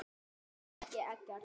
Er það ekki Eggert?